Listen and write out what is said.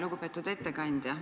Lugupeetud ettekandja!